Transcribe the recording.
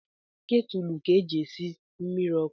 Ketulu ka e ji esi mmiri ọkụ